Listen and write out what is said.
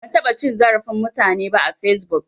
Ban taɓa cin zarafin mutane ba a fesbuk